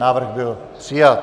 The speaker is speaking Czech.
Návrh byl přijat.